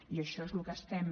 i això és el que estem